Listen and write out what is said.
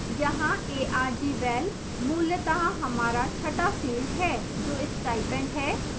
यहाँ argval मूलतः हमारा छठा field है जो stipend है